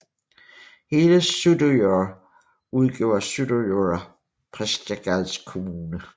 Hele Suðuroy udgjorde Suðuroyar prestagjalds kommuna